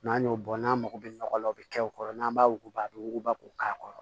N'an y'o bɔ n'an mago bɛ nɔgɔ la o bɛ kɛ o kɔrɔ n'an b'a wuguba a bɛ wuguba k'o k'a kɔrɔ